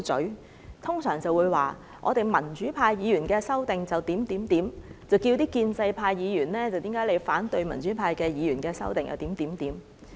他們通常會說我們民主派議員的修訂是怎樣怎樣，然後問建制派議員為何反對民主派議員的修訂。